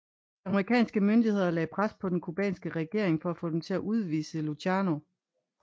De amerikanske myndigheder lagde pres på den cubanske regering for at få dem til at udvise Luciano